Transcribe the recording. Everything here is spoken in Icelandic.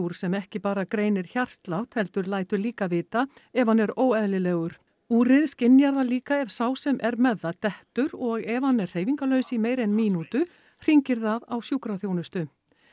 sem ekki bara greinir hjartslátt heldur lætur líka vita ef hann er óeðlilegur úrið skynjar það líka ef sá sem er með það dettur og ef hann er hreyfingarlaus í meira en mínútu hringir það á sjúkraþjónustu